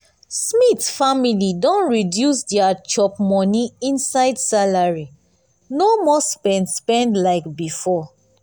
smith family don reduce dia chop-money inside salary no more spend spend like before.